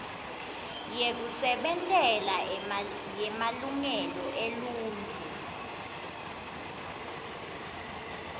yekusebentela yemalungelo eluntfu